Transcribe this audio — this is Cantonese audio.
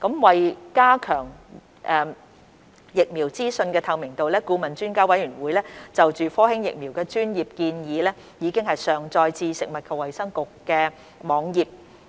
為加強疫苗資訊的透明度，顧問專家委員會就科興疫苗的專業建議已上載至食物及衞生局網頁。